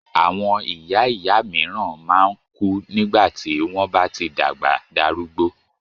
Àwọn ìyá ìyá míràn man kú nígbàtí wón bá tí dàgbà darúgbó